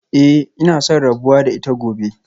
Eh ina son rabuwa da ita gobe